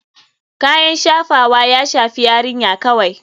Kayan shafawa ya shafi yarinya kawai.